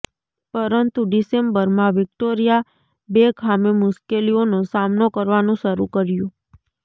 પરંતુ ડિસેમ્બરમાં વિક્ટોરિયા બેકહામે મુશ્કેલીઓનો સામનો કરવાનું શરૂ કર્યું